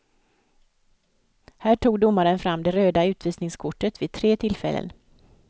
Här tog domaren fram det röda utvisningskortet vid tre tillfällen.